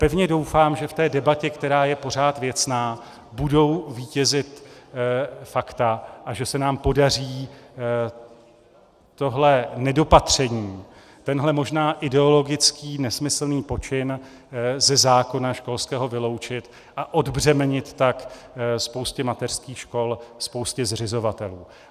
Pevně doufám, že v té debatě, která je pořád věcná, budou vítězit fakta a že se nám podaří tohle nedopatření, tenhle možná ideologický, nesmyslný počin ze zákona školského vyloučit a odbřemenit tak spoustě mateřských škol, spoustě zřizovatelů.